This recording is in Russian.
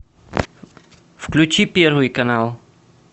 включи первый канал